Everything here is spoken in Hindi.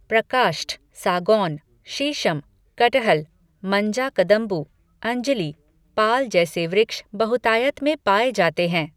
प्रकाष्ठ, सागौन, शीशम, कटहल, मंजाकदम्बु, अंजिली, पाल जैसे वृक्ष बहुतायत में पाए जाते हैं।